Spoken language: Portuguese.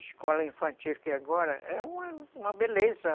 Escola infantil que agora é uma uma beleza.